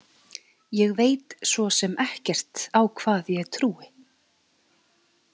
Ég veit svo sem ekkert á hvað ég trúi.